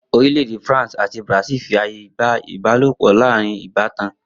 Orílè̩-èdè France àti Brazil fi aye gba ìbálopò̩ láàárín ìbátan